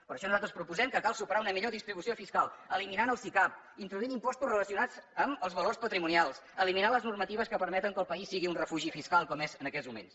per això nosaltres proposem que cal superar una millor distribució fiscal eliminant el sicav introduint impostos relacionats amb els valors patrimonials eliminant les normatives que permeten que el país sigui un refugi fiscal com és en aquests moments